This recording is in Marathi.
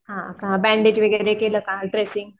हा का बँडेज वगैरे केलं का? ड्रेसिंग